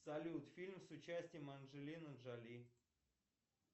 салют фильм с участием анджелины джоли